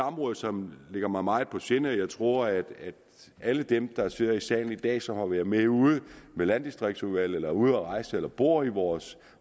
område som ligger mig meget på sinde og jeg tror at alle dem der sidder i salen i dag og som har været med ude med landdistriktsudvalget eller ude at rejse eller bor i vores